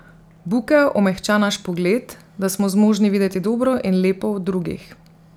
Bukev omehča naš pogled, da smo zmožni videti dobro in lepo v drugih.